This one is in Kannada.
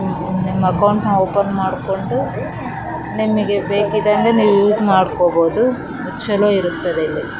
ಇದು ಆಕ್ಸಿಸ್ ಬ್ಯಾಂಕ್ ಇದ್ರಲ್ಲಿ zero balance account zero balance --